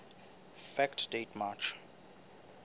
fact date march